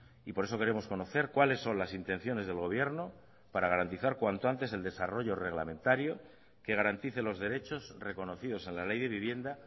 y por eso queremos conocer cuáles son las intenciones del gobierno para garantizar cuanto antes el desarrollo reglamentario que garantice los derechos reconocidos a la ley de vivienda